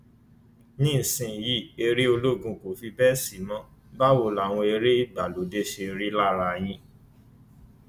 nísìnyìí eré olóògùn kò fi bẹẹ sí mọ báwo làwọn eré ìgbàlódé ṣe rí lára yín